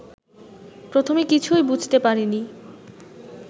প্রথমে কিছুই বুঝতে পারেনি